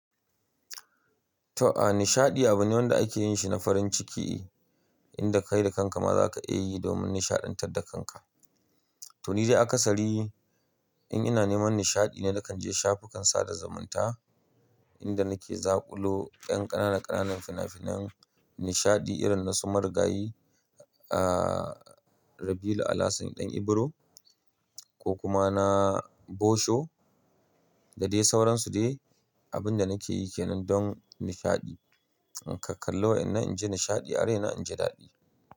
To, a nishaɗi abu ne wanda ake yin shi na farin ciki, inda kai da kanka ma za ka iya yi domin nishaɗantar da kanka. To, ni dai akasari in ina neman nishaɗi ne nakan je shafukan sada zumunta, inda nake zakulo ƙanƙana ƙananan fina-finan nishaɗi irin na su Marigayi, aaaa Rabiu Alasan Ɗan Ibro ko kuma na Bosho da dai sauransu dai, abin da nake yi ke nan don nishaɗi. In ka kalli wa'inan in ji nishaɗi, are na in ji daɗi.